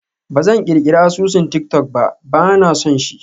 Ba zan ƙirƙirar asusun tik-tok ba, ba na son shi.